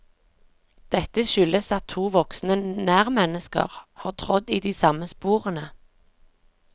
Dette skyldes at to voksne nærmennesker har trådd i de samme sporene.